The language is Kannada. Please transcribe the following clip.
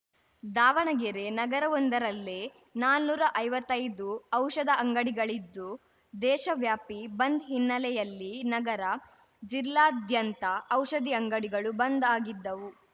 ದಾವಣಗೆರೆ ನಗರವೊಂದರಲ್ಲೇ ನಾನುರಾ ಐವತ್ತೈದು ಔಷಧ ಅಂಗಡಿಗಳಿದ್ದು ದೇಶವ್ಯಾಪಿ ಬಂದ್‌ ಹಿನ್ನೆಲೆಯಲ್ಲಿ ನಗರ ಜಿಲ್ಲಾದ್ಯಂತ ಔಷಧಿ ಅಂಗಡಿಗಳು ಬಂದ್‌ ಆಗಿದ್ದವು